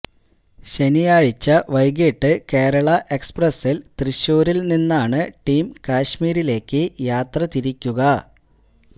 ശനിയാഴ്ച വൈകിട്ട് കേരള എക്സ്പ്രസ്സില് തൃശ്ശൂരില് നിന്നാണ് ടീം കശ്മീരിലേക്ക് യാത്രതിരിക്കുക